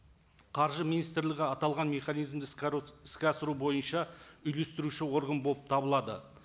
қаржы министрлігі аталған механизмді іске іске асыру бойынша үйлестіруші орган болып табылады